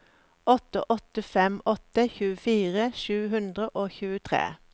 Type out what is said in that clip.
åtte åtte fem åtte tjuefire sju hundre og tjuetre